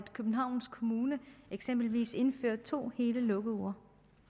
københavns kommune eksempelvis indfører to hele lukkeuger